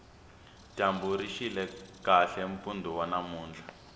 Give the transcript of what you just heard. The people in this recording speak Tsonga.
dyambu rixile kahle mpundu wa namuntlha